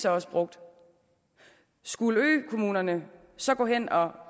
også brugt skulle økommunerne så gå hen og